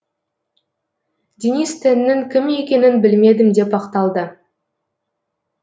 денис теннің кім екенін білмедім деп ақталды